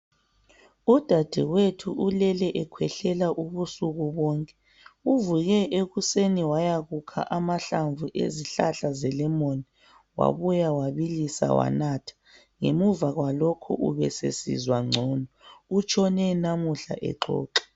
Udadewethu ulele ekhwehlela ubusuku bonke . Uvuke ekuseni wayakukha amahlamvu ezihlahla zelemoni. Wabuya wabilisa wanatha. Ngemuva kwalokhu ubesesizwa ngcono. Utshone namuhla exoxa.